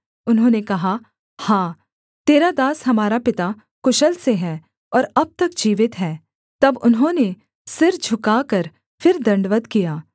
उन्होंने कहा हाँ तेरा दास हमारा पिता कुशल से है और अब तक जीवित है तब उन्होंने सिर झुकाकर फिर दण्डवत् किया